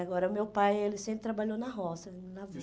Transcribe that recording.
Agora, o meu pai, ele sempre trabalhou na roça, na